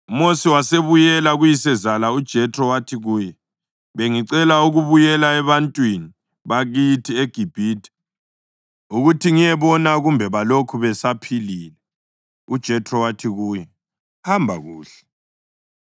UMosi wasebuyela kuyisezala uJethro wathi kuye, “Bengicela ukubuyela ebantwini bakithi eGibhithe ukuthi ngiyebona kumbe balokhu besaphilile.” UJethro wathi kuye, “Hamba kuhle.”